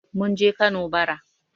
Mun je Kano bara.